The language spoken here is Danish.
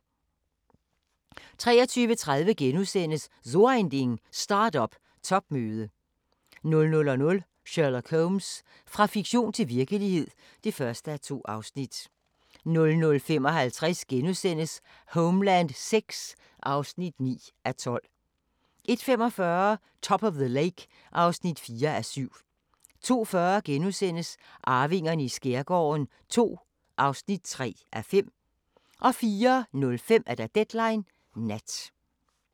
23:30: So Ein Ding: Start-up topmøde * 00:00: Sherlock Holmes – fra fiktion til virkelighed (1:2) 00:55: Homeland VI (9:12)* 01:45: Top of the Lake (4:7) 02:40: Arvingerne i skærgården II (3:5)* 04:05: Deadline Nat